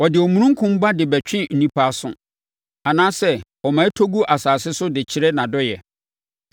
Ɔde omununkum ba de bɛtwe nnipa aso, anaasɛ ɔma ɛtɔ gu asase so de kyerɛ nʼadɔeɛ.